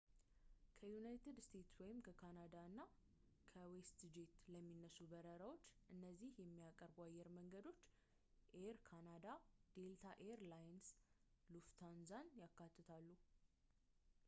ከዩናይትድ ስቴትስ ወይም ከካናዳ እና ከዌስትጄት ለሚነሱ በረራዎች እነዚህን የሚያቀርቡ አየር መንገዶች ኤይር ካናዳ ዴልታ ኤይር ላይንስ ሉፍታንዛን ያካትታሉ